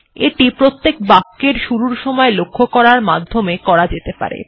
এটি প্রত্যেক বাক্যের শুরুর সময় লক্ষ্য করার মাধ্যমে করা যেতে পারে